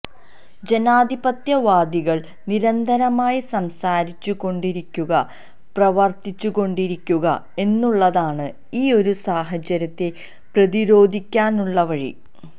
ജനാധിപത്യ വാദികള് നിരന്തരമായി സംസാരിച്ചു കൊണ്ടിരിക്കുക പ്രവര്ത്തിച്ചുകൊണ്ടിരിക്കുക എന്നുള്ളതാണ് ഈ ഒരു സാഹചര്യത്തെ പ്രതിരോധിക്കാനുള്ള വഴി